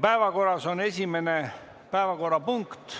Päevakorras on esimene punkt